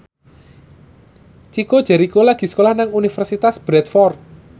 Chico Jericho lagi sekolah nang Universitas Bradford